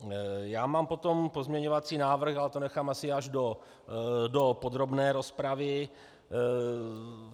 Já mám potom pozměňovací návrh, ale to nechám asi až do podrobné rozpravy.